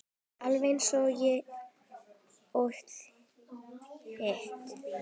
Alveg eins og þitt.